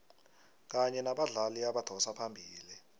kanye nabadlali abadosa phambili